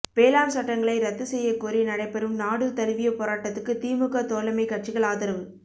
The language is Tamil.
வேளாண் சட்டங்களை ரத்து செய்யக்கோரி நடைபெறும் நாடு தழுவிய போராட்டத்துக்கு திமுக தோழமை கட்சிகள் ஆதரவு